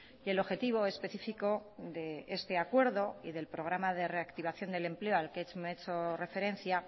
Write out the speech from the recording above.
y el objetivo específico de este acuerdo y del programa de reactivación del empleo al que he hecho referencia